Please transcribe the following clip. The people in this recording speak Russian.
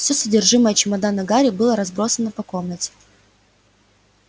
всё содержимое чемодана гарри было разбросано по комнате